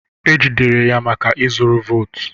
E jidere ya maka ịzụrụ votu